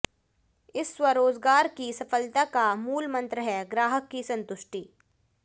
इस स्वरोजगार की सफलता का मूलमंत्र है ग्राहक की संतुष्टि